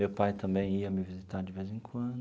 Meu pai também ia me visitar de vez em quando.